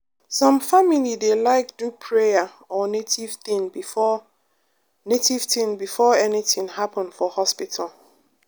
some family dey like do prayer or native thing before native thing before anything happen for hospital.